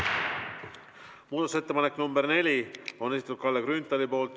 Muudatusettepanek nr 4 on Kalle Grünthali esitatud.